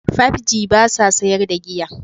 5G ba sa sayar da giya.